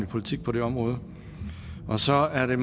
politik på det område så er det